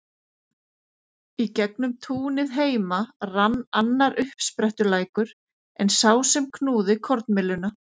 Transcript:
Í gegnum túnið heima rann annar uppsprettulækur en sá sem knúði kornmylluna.